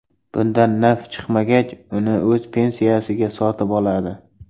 Bundan naf chiqmagach, uni o‘z pensiyasiga sotib oladi.